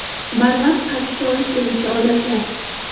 Barvaqt qarishga olib keluvchi odatlar.